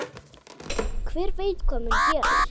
Hver veit hvað mun gerast?